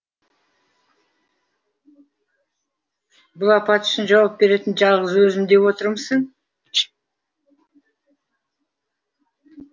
бұл апат үшін жауап беретін жалғыз өзім деп отырмысың